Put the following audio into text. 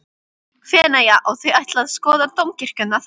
Feneyja og þau ætla að skoða dómkirkjuna þar.